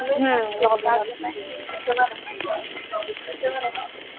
हम्म login होतं नाही